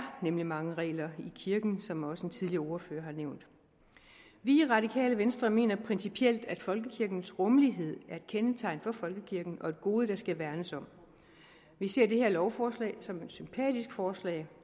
nemlig mange regler i kirken som også en tidligere ordfører har nævnt vi i radikale venstre mener principielt at folkekirkens rummelighed er et kendetegn for folkekirken og et gode der skal værnes om vi ser det her lovforslag som et sympatisk forslag